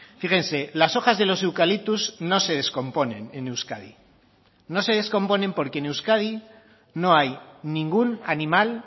fíjense las hojas de los eucaliptos no se descomponen en euskadi no se descomponen porque en euskadi no hay ningún animal